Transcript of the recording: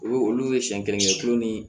Olu olu ye siɲɛ kelen tulo ni